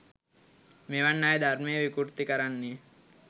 මෙවන් අය ධර්මය විකෘති කරන්නේ